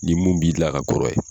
Ni mun b'i la ka kɔrɔ ye.